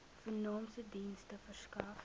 vernaamste dienste verskaf